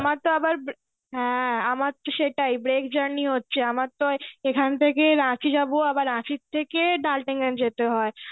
আমার তো আবার হ্যাঁ আমার তো সেটাই break journey হচ্ছে আমার তো এখান থেকে রাঁচী যাবো আবার রাঁচির থেকে DaltonGanj যেতে হয়.